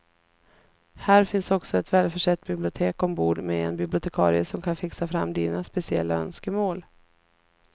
Här finns också ett välförsett bibliotek ombord med en bibliotekarie som kan fixa fram dina speciella önskemål.